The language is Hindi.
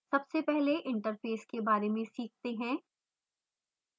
सबसे पहले interface के बारे में सीखते हैं